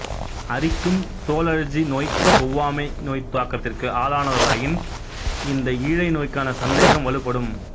அரிக்கும் தோலழற்சி நோய் ஒவ்வாமை நோய்த் தாக்கத்திற்கு ஆளானவர்களாயின் இந்த ஈழை நோய்க்கான சந்தேகம் வலுப்படும்